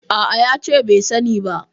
A'a, ya ce bai sani ba.